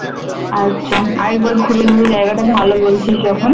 আচ্ছা আরেকবার ঘুরে নিবি জায়াগাটা ভালো বলছিস যখন